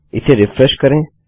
इसे रिफ्रेश करें